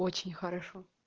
очень хорошо